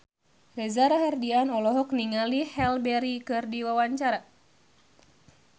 Reza Rahardian olohok ningali Halle Berry keur diwawancara